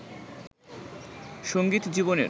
সংগীত জীবনের